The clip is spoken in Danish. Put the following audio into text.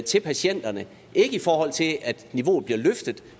til patienterne ikke i forhold til at niveauet bliver løftet